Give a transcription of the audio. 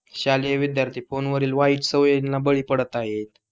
शालेय विद्यार्थी फोन वरील वाईट सवयींना बळी पडत आहे